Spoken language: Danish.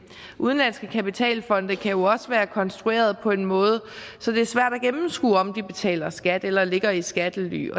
udenlandske kapitalfonde kan jo også være konstrueret på en måde så det er svært at gennemskue om de betaler skat eller ligger i skattely